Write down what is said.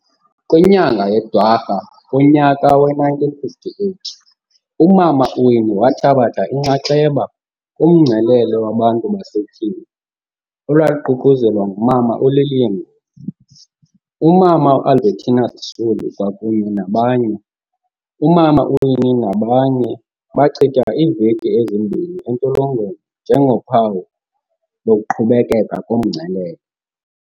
Kwinyanga yeDwarha kunyaka we-1958, umama uWinnie wathabatha inxaxheba kumngcelele wabantu basetyhini olwaluququzelelwe ngumama uLillian Ngoyi, umama uAlbertina Sisulu kwakunye nabanye. Umama uWinnie nabanye bachitha iiveki ezimbini entolongweni nje ngophawu lokuqhubekeka komngcelele.